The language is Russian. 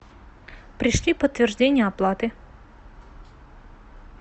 пришли подтверждение оплаты